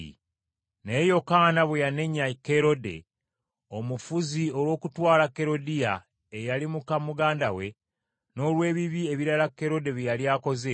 Naye Yokaana bwe yanenya Kerode, omufuzi, olw’okutwala Kerodiya eyali muka muganda we, n’olw’ebibi ebirala Kerode bye yali akoze,